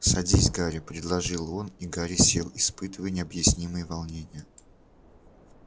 садись гарри предложил он и гарри сел испытывая необъяснимое волнение